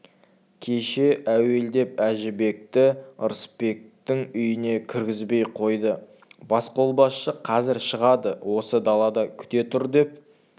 кеше әуелдеп әжібекті ырысбектің үйіне кіргізбей қойды басқолбасшы қазір шығады осы далада күте тұр деп